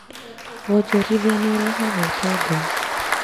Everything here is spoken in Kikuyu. Wonjorithia nĩ ũrehaga ũtonga